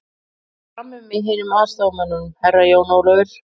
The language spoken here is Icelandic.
Ég verð frammi með hinum aðstoðarmönnunum, Herra Jón Ólafur.